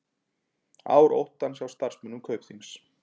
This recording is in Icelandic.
Ár óttans hjá starfsmönnum Kaupþings